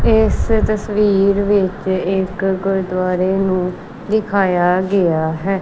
ਇਸ ਤਸਵੀਰ ਵਿੱਚ ਇੱਕ ਗੁਰਦੁਆਰੇ ਨੂੰ ਦਿਖਾਇਆ ਗਿਆ ਹੈ।